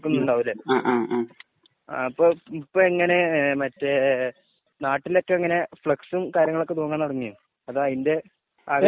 ഉണ്ടാവുമല്ലേ? അപ്പൊ ഇപ്പൊ എങ്ങനെ മറ്റേ നാട്ടിലൊക്കെ എങ്ങനെ ഫ്‌ളെക്‌സും കാര്യങ്ങളുമൊക്കെ തൂങ്ങാന്‍ തുടങ്ങിയോ? അത് അതിന്റെ